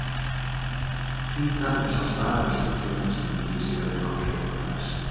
Títan er sá staður í sólkerfinu sem líkist jörðinni okkar einna mest.